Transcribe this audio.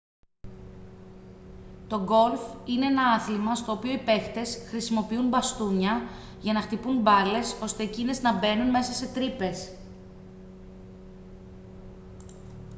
το γκολφ είναι ένα άθλημα στο οποίο οι παίχτες χρησιμοποιούν μπαστούνια για να χτυπούν μπάλες ώστε εκείνες να μπαίνουν μέσα σε τρύπες